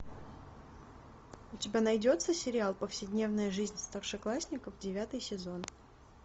у тебя найдется сериал повседневная жизнь старшеклассников девятый сезон